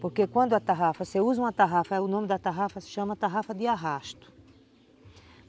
Porque quando a tarrafa você usa uma tarrafa, o nome da tarrafa se chama tarrafa de arrasto.